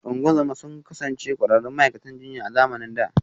Ungozoma sun kasance ƙwararrun ma’aikatan jinya a zamanin da